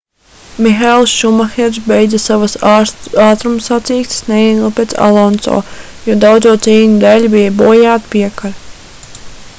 mihaels šumahers beidza savas ātrumsacīkstes neilgi pēc alonso jo daudzo cīņu dēļ bija bojāta piekare